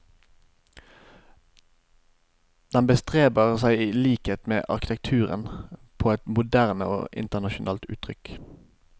Den bestreber seg i likhet med arkitekturen på et moderne og internasjonalt uttrykk.